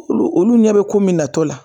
Olu olu ɲɛ be ko min natɔ la